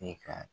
E ka